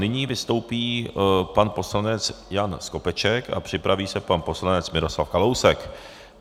Nyní vystoupí pan poslanec Jan Skopeček a připraví se pan poslanec Miroslav Kalousek.